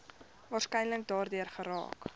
waarskynlik daardeur geraak